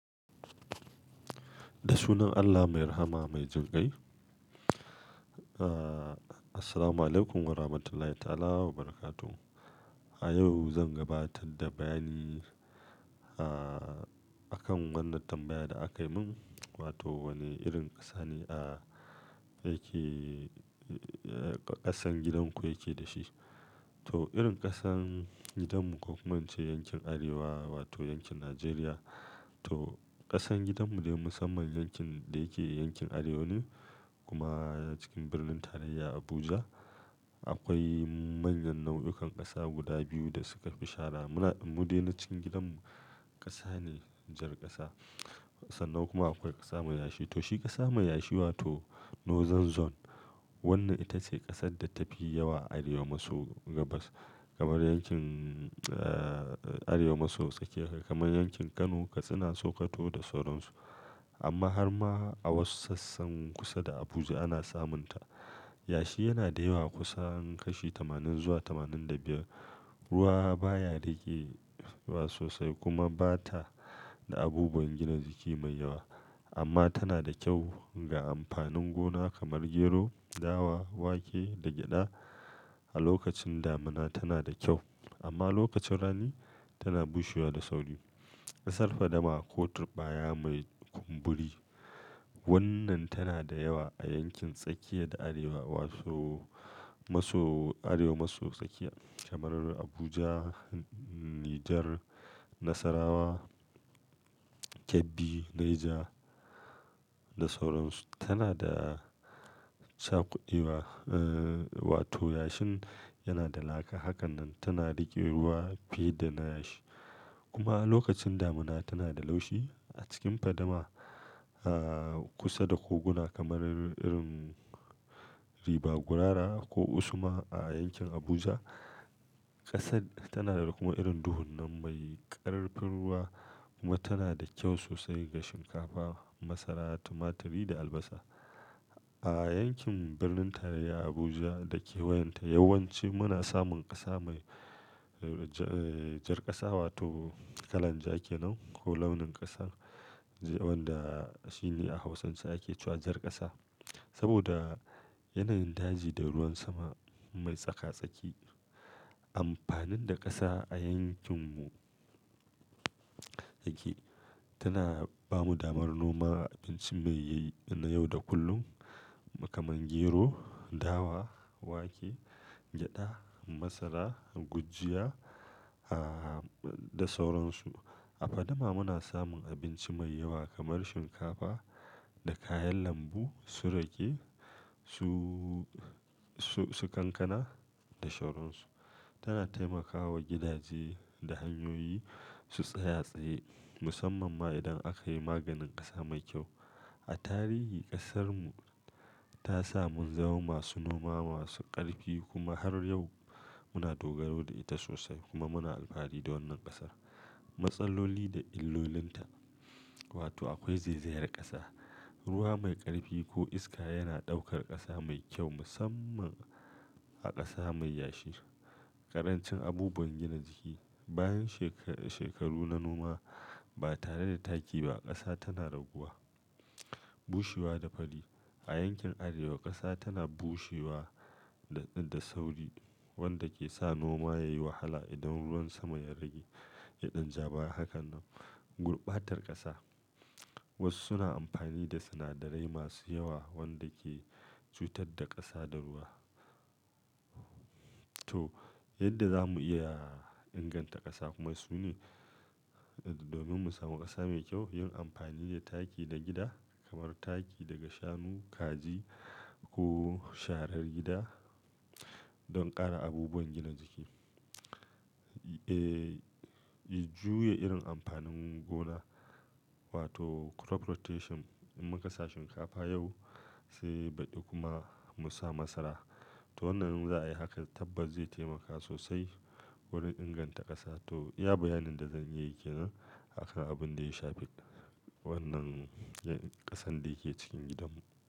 Da sunan Allah mai rahama mai jinƙai. Ah, assalamualaikum warahmatullahi ta'ala wabarakatuh. A yau zan gabatar da bayani ah, akan wannan tambaya da aka yi min wato wani irin ƙasa ne a yake ƙasan gidan ku yake da shi? To, irin ƙasan gidanmu kuma ce yankin Arewa wato yankin Najeriya. To, ƙasan gidanmu dai musamman yankin da yake yankin Arewa ne kuma cikin birnin tarayya Abuja. Akwai manyan nau'ikan ƙasa guda biyu da suka fi shahara. Muna, mu dai na cikin gidanmu ƙasa ne jar ƙasa. Sannan kuma akwai ƙasa mai yashi. To shi ƙasa mai yashi wato Northern zone. Wannan ita ce ƙasar da tafi yawa Arewa maso gabas kamar yankin ah, Arewa maso tsakiya kamar yankin Kano suna saukato da sauransu. Amma har ma a wasu sassan kusa da Abuja ana samunta. Yashi yana da yawa kusan kashi tamanin zuwa tamanin da biyar. Ruwa baya ragewa sosai kuma ba ta da abubuwan gina jiki mai yawa. Amma tana da kyau ga amfanin gona kamar gero, dawa, wake da gyada. A lokacin damuna tana da kyau amma lokacin rani tana bushewa da sauri. Ƙasar fadama ko turɓaya mai kumburi. Wannan tana da yawa a yankin tsakiya da Arewa maso, maso Arewa maso tsakiya kamar Abuja, Niger, Nasarawa, Kebbi, Neja da sauransu. Tana da cakudewa ah, wato yashin yana da laka. Hakan nan tana raƙe ruwa fiye da na yashi. Kuma a lokacin damuna tana da laushi. A cikin fadama ah, kusa da koguna kamar irin Ribagurara ko Usma a yankin Abuja ƙasar tana da kuma irin duhunnan mai ƙarfin ruwa kuma tana da kyau sosai ga shinkafa, masara, tumaturi da albasa. A yankin birnin tarayya Abuja da ke wayanta yawanci muna samun ƙasa mai jar ƙasa wato kalan ja ke nan ko launin ƙasa wanda shi ne a Hausance ake cewa jar ƙasa. Saboda yana yin daji da ruwan sama mai tsaka-tsaki. Amfanin da ƙasa a yankinmu yake, tana ba mu damar noma abinci mai yayi na yau da kullum kamar gero, dawa, wake, gyada, masara, gujiya ah, da sauransu. A fadama muna samun abinci mai yawa kamar shinkafa da kayan lambu su rage su, su, su kankana da sauransu. Tana taimakawa gidaje da hanyoyi su tsaya tsaye musamman ma idan aka yi maganin ƙasa mai kyau. A tarihi ƙasarmu ta sa mun zama masu noma masu ƙarfi kuma har yau muna dogaro da ita sosai kuma muna alfahari da wannan ƙasar. Matsaloli da illolinta wato akwai zaizayar ƙasa, ruwa mai ƙarfi ko iska yana ɗaukar ƙasa mai kyau musamman a ƙasa mai yashi. Karancin abubuwan gina jiki. Bayan shekaru, shekaru na noma ba tare da taki ba ƙasa tana raguwa, bushewa da fadi. A yankin Arewa ƙasa tana bushewa da, da sauri wanda ke sa noma yayi wahala idan ruwan sama ya rage. Ya ɗan ja baya hakan nan. Gurɓatar ƙasa. Wasu suna amfani da sinadarai masu yawa wanda ke cutar da ƙasa da ruwa. To, yadda za mu iya inganta ƙasa kuma su ne domin mu samu ƙasa mai kyau yin amfani da taki na gida kamar taki daga shanu, kaji ko sharar gida don ƙara abubuwan gina jiki. Eh, juye irin amfanin gona wato crop rotation. In mun kasa shinkafa yau sai baɗi kuma mu sa masara. To wannan za a yi haka tabbas zai taimaka sosai wurin inganta ƙasa. To, ya bayanin da zan iya yi ke nan haka abun da ya shafi wannan ƙasan da yake cikin gidanmu.